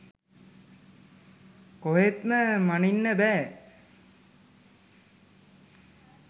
කොහෙත්ම මනින්න බෑ.